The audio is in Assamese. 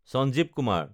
চাঞ্জীৱ কুমাৰ